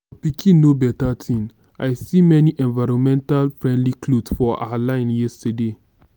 your pikin know beta thing. i see many environmental friendly cloths for her line yesterday